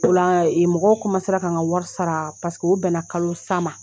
Ola mɔgɔw ka n ka wari sara pa paseke o bɛn na kalo sa ma.